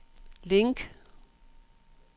link